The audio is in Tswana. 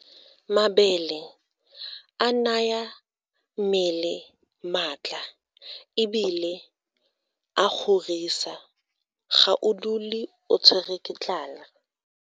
Mabele a naya mmele maatla ebile a kgorisa ga o dule o tshwerwe ke tlala.